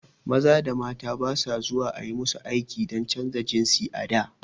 Maza da mata ba su zuwa ayi musu aiki dan canja jinsi a da